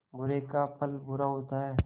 बुरे का फल बुरा होता है